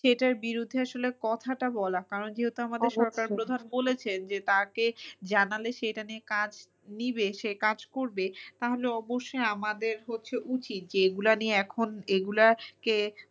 সেটার বিরুদ্ধে আসলে কথাটা বলা কারণ যেহেতু আমাদের সরকার প্রধান বলেছেন যে তাকে জানালে সে এটা নিয়ে কাজ নিবে সে কাজ করবে তাহলে অবশ্যই আমাদের হচ্ছে উচিত যে এগুলো নিয়ে এখন এগুলো কে